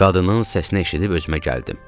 Qadının səsini eşidib özümə gəldim.